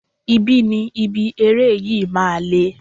Ibi ni ibi eré yìí máa le.